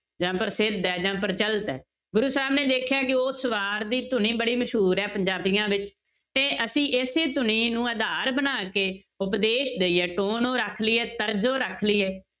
ਜਾਂ ਪ੍ਰਸਿੱਧ ਜਾਂ ਪ੍ਰਚਲਿਤ ਹੈ ਗੁਰੂ ਸਾਹਿਬ ਨੇ ਦੇਖਿਆ ਕਿ ਉਸ ਵਾਰ ਦੀ ਧੁਨੀ ਬੜੀ ਮਸ਼ਹੂਰ ਹੈ ਪੰਜਾਬੀਆਂ ਵਿੱਚ, ਤੇ ਅਸੀਂ ਇਸੇ ਧੁਨੀ ਨੂੰ ਆਧਾਰ ਬਣਾ ਕੇ ਉਪਦੇਸ ਦੇਈਏ ਨੂੰ ਰੱਖ ਲਈਏ ਤਰਜੋ ਰੱਖ ਲਈਏ